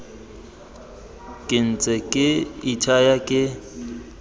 ke ntse ke ithaya ke